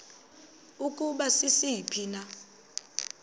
ukuba sisiphi na